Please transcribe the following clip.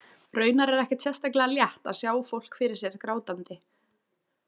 Raunar er ekkert sérstaklega létt að sjá fólk fyrir sér grátandi.